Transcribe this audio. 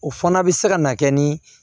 O fana bɛ se ka na kɛ ni